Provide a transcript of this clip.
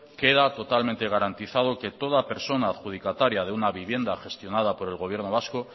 queda totalmente garantizado que toda persona adjudicataria de una vivienda gestionada por el gobierno vasco